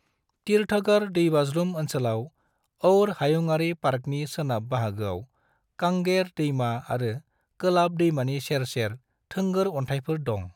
तीरथगढ़ दैबाज्रुम ओंसोलाव और हायुङारि पार्कनि सोनाब बाहागोआव कांगेर दैमा आरो कोलाब दैमानि सेर सेर थोंगोर अन्थायफोर दं।